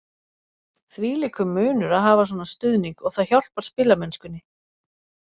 Þvílíkur munur að hafa svona stuðning og það hjálpar spilamennskunni.